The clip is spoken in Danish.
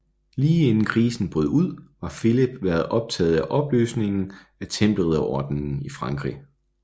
Lige inden krisen brød ud var Filip været optaget af opløsningen af Tempelridderordenen i Frankrig